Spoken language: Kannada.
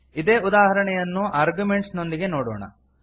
ಇದೇ ಉದಾಹರಣೆಯನ್ನು ಅರ್ಗ್ಯುಮೆಂಟ್ಸ್ ನೊಂದಿಗೆ ನೋಡೋಣ